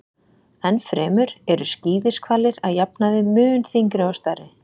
enn fremur eru skíðishvalir að jafnaði mun þyngri og stærri